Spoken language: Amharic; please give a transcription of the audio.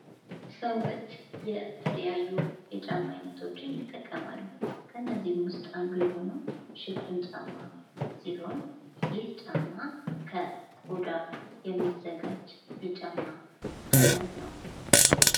ሰዎች የተለያዩ የጫማ አይነቶችን ይጠቀማሉ ከነዚህም ውስጥ የሆነው ሽፍን ጫማ ሲሆን ይህ ጫማ ከቆዳ የሚዘጋጅ የጫማ ዓይነት ነው።